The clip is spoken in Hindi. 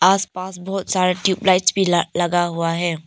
आस पास बहुत सारे ट्यूब लाइट्स भी ल लगा हुआ है।